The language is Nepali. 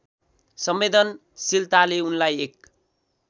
संवेदनशीलताले उनलाई एक